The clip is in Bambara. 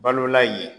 Balola yen